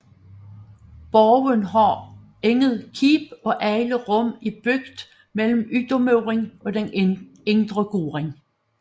Borgen har intet keep og alle rum er bygget mellem ydermuren og den indre gård